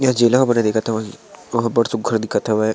यह जेल मन दिखत होइ वह बहुत - बहुत सुघ्घर दिखत हावे।